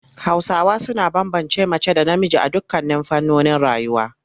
Hausawa suna bambance mace da namiji a dukkan fannonin rayuwa.